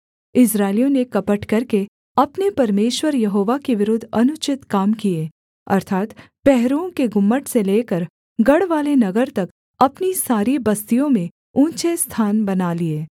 इस्राएलियों ने कपट करके अपने परमेश्वर यहोवा के विरुद्ध अनुचित काम किए अर्थात् पहरुओं के गुम्मट से लेकर गढ़वाले नगर तक अपनी सारी बस्तियों में ऊँचे स्थान बना लिए